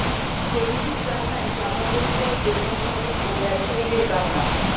শ্রমিকের কান্নায় চাপা পড়ে যায় দোকানমালিক ও ব্যবসায়ীদের কান্না